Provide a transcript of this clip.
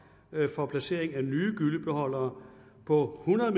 for placering af nye gyllebeholdere på hundrede